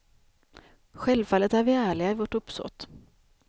Självfallet är vi ärliga i vårt uppsåt.